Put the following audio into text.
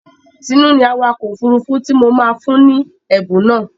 Tinú ni awakọ̀ òfurufú tí mo máa fún ni ẹ̀bùn náà.